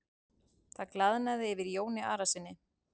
Það glaðnaði yfir Jóni Arasyni.